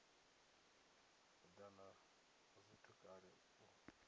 edana ha zwithu kale u